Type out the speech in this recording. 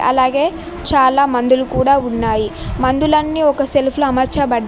అలాగే చాలా మందులు కూడా ఉన్నాయి మందులన్నీ ఒక సెల్ఫ్ అమర్చబడ్డ--